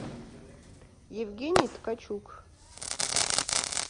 евгений ткачук